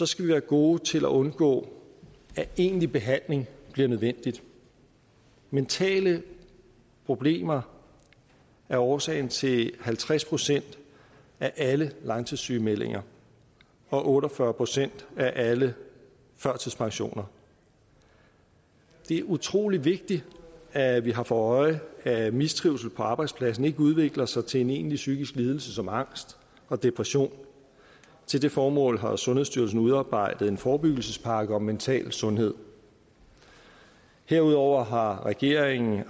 skal vi være gode til at undgå at egentlig behandling bliver nødvendigt mentale problemer er årsagen til halvtreds procent af alle langtidssygemeldinger og otte og fyrre procent af alle førtidspensioner det er utrolig vigtigt at vi har for øje at mistrivsel på arbejdspladsen ikke udvikler sig til en egentlig psykiske lidelse som angst og depression til det formål har sundhedsstyrelsen udarbejdet en forebyggelsespakke om mental sundhed herudover har regeringen